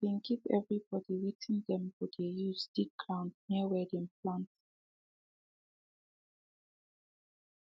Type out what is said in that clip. she been give everybody wetin dem go dey use dig ground near where dem plant